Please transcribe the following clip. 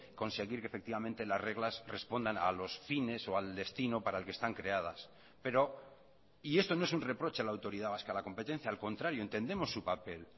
conseguir que efectivamente las reglas respondan a los fines o al destino para el que están creadas pero y esto no es un reproche a la autoridad vasca de la competencia al contrario entendemos su papel